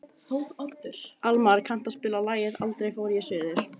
Almar, kanntu að spila lagið „Aldrei fór ég suður“?